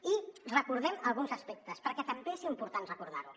i recordem alguns aspectes perquè també és important recordar·ho